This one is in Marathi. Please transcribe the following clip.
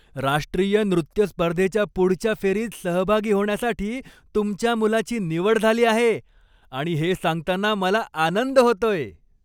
राष्ट्रीय नृत्य स्पर्धेच्या पुढच्या फेरीत सहभागी होण्यासाठी तुमच्या मुलाची निवड झाली आहे आणि हे सांगताना मला आनंद होतोय.